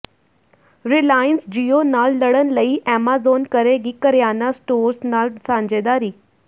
Reliance Jio ਨਾਲ ਲੜਣ ਲਈ ਐਮਾਜ਼ੋਨ ਕਰੇਗੀ ਕਰਿਆਨਾ ਸਟੋਰਸ ਨਾਲ ਸਾਂਝੇਦਾਰੀ